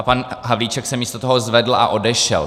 A pan Havlíček se místo toho zvedl a odešel.